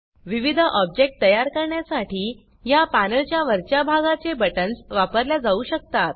विविध ऑब्जेक्ट तयार करण्यासाठी या पॅनलच्या वरच्या भागाचे बटन्स वापरल्या जाऊ शकतात